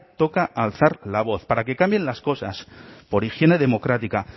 toca alzar la voz para que cambien las cosas por higiene democrática